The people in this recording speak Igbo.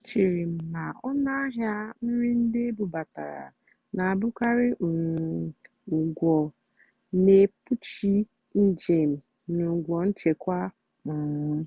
échéré m ná ónú àhịá nrì ndì ébúbátàrá nà-àbụ́karị́ um ụ́gwọ́ nà-ékpúchì njèm nà ụ́gwọ́ nchèkwá. um